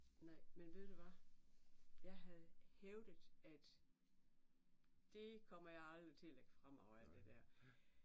Nej. Men ved du hvad? Jeg havde hævdet at det kommer jeg aldrig til at lægge fra mig og alt det der